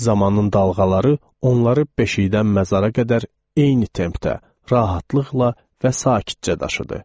Zamanın dalğaları onları beşiyədən məzara qədər eyni tempdə, rahatlıqla və sakitcə daşıdı.